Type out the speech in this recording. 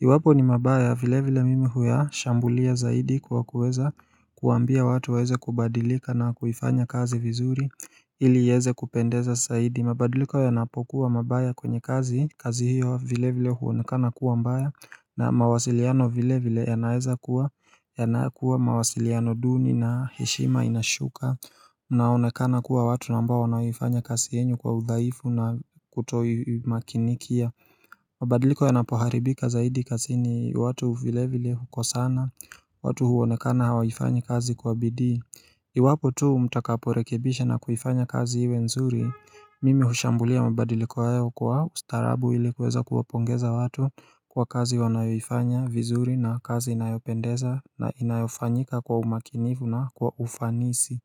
Iwapo ni mabaya vile vile mimi huya shambulia zaidi kwa kuweza kuambia watu waeze kubadilika na kuifanya kazi vizuri ili iweze kupendeza zaidi mabadiliko yanapokuwa mabaya kwenye kazi, kazi hiyo vile vile huonekana kuwa mbaya na mawasiliano vile vile yanaeza kuwa, yanakuwa mawasiliano duni na heshima inashuka Naonekana kuwa watuna ambao wanaoifanya kasi yenyu kwa udhaifu na kutoi makinikia mabadiliko yanapoharibika zaidi kazini watu vile vile huko sana, watu huonekana hawifanyi kazi kwa bidii Iwapo tu mtakaporekebisha na kuifanya kazi iwe nzuri Mimi hushambulia mabadiliko hayo kwa ustaarabu ilikuweza kuwapongeza watu kwa kazi wanayofanya vizuri na kazi inayopendeza na inayofanyika kwa umakinifu na kwa ufanisi.